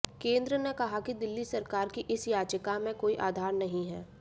केंद्र ने कहा कि दिल्ली सरकार की इस याचिका में कोई आधार नहीं है